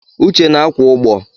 Uche na akwụ ụgbọ.